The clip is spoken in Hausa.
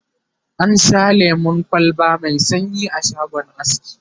na Sha lemun kwalba Mai sanyi a shagon aski